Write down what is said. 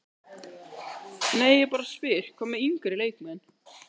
Nei ég bara spyr, hvað með yngri leikmenn?